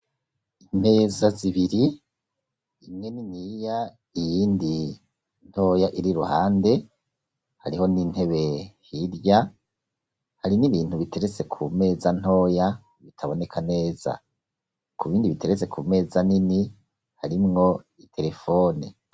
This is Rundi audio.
Imeza zibiri imweniniya iyindi ntoya iri ruhande hariho n'intebe hirya hari n'ibintu biteretse ku meza ntoya bitaboneka neza ku bindi biteretse ku meza nini harimwo iterefone.